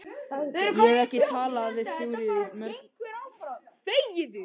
Ég hef ekki talað við Þuríði dögum saman.